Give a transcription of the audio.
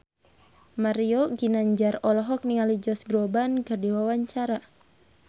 Mario Ginanjar olohok ningali Josh Groban keur diwawancara